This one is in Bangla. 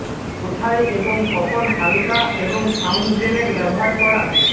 কোথায় এবং কখন হালকা এবং সাউন্ড গ্রেনেড ব্যবহার করা